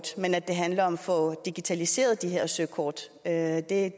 sige at